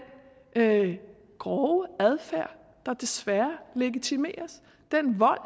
grove adfærd der desværre legitimeres den vold